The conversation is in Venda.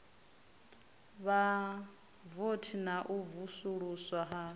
vhavothi na u vusuluswa ha